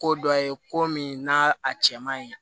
Ko dɔ ye ko min n'a a cɛman ye